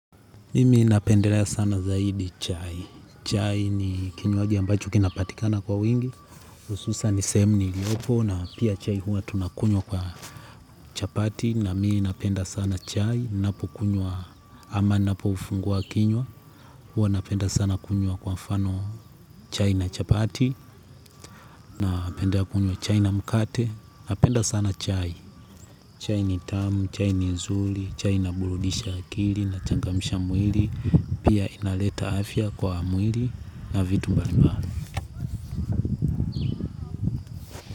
Mimi napendelea sana zaidi chai. Chai ni kinywaji ambacho kinapatikana kwa wingi. Hususan sehemu niliyopona pia chai tunakunywa kwa chapati na mimi ninapenda sana chai tunapokunywa ama ninapoufungua kinywa. Huwa napenda sana kunywa kwa mfano chai na chapati. Napenda kunywa chai na mkate. Napenda sana chai. Chai ni tamu, chai ni nzuri, chai inaburudisha akili, inachangamisha mwili. Pia inaleta afya kwa mwili na vitu mbalimbali.